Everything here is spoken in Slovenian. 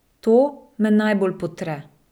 To me najbolj potre.